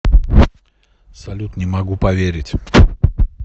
салют не могу поверить